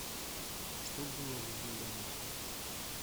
что было в вавилония